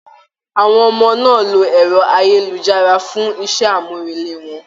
Àwọn ọmọ náà ló ẹrọ ayélujára for iṣẹ amurele wọn.